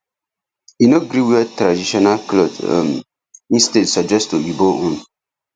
e no gree wear traditional cloth um instead suggest oyibo own